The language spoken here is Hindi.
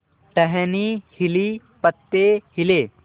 टहनी हिली पत्ते हिले